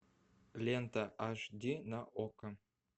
лента аш ди на окко